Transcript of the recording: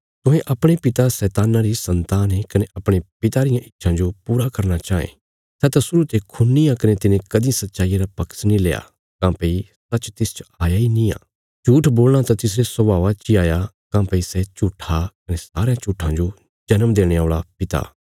तुहें अपणे पिता शैतान्ना री सन्तान ये कने अपणे पिता रियां इच्छां जो पूरा करना चाँये सै त शुरु ते खूनी आ कने तिने कदीं सच्चाईया रा पक्ष नीं लेआ काँह्भई सच्च तिसच हाया इ निआं झूट्ठ बोलणा त तिसरे स्वाभावा ची हाया काँह्भई सै झूट्ठा कने सारयां झूट्ठां जो जन्म देणे औल़ा पिता